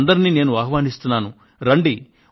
మిమ్మల్నందరినీ ఆహ్వానిస్తున్నాను నేను